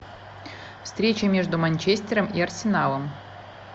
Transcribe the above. встреча между манчестером и арсеналом